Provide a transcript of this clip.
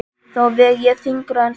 Þá veg ég þyngra en þú.